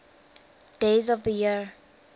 days of the year